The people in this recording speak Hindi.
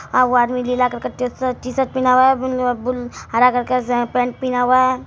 एगो आदमी नीला करके टीशर्ट पेहना हुआ है हरा करके पैंट पेहना हुआ है।